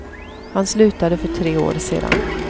Han slutade för tre år sedan.